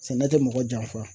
Sɛnɛ tɛ mɔgɔ janfa.